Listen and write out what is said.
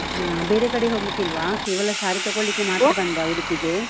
ಹ ಬೇರೆ ಕಡೆಹೋಗ್ಲಿಕ್ಕಿಲ್ವಾ, ಕೇವಲ saree ತಕೊಳ್ಳಿಕ್ಕೆ ಮಾತ್ರ ಬಂದ್ರಾ ಉಡುಪಿಗೆ?